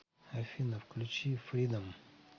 афина включи фридом